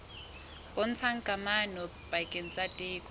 bontshang kamano pakeng tsa theko